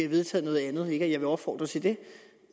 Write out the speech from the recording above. vedtaget noget andet ikke at jeg vil opfordre til det